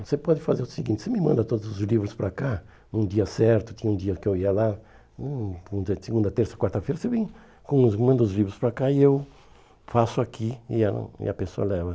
Você pode fazer o seguinte, você me manda todos os livros para cá, num dia certo, tinha um dia que eu ia lá, hum, segunda, terça, quarta-feira, você vem com os manda os livros para cá e eu faço aqui e ela e a pessoa leva.